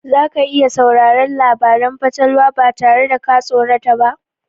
Za ka iya sauraron labaran fatalwa ba tare da ka tsorata ba?